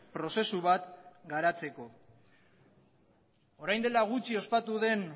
prozesu bat garatzeko orain dela gutxi ospatu den